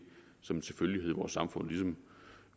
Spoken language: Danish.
som en selvfølgelighed i vores samfund ligesom